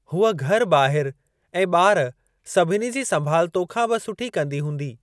हूअ घर ॿाहिरि ऐं ॿार सभिनी जी संभाल तोखां बि सुठी कंदी हूंदी।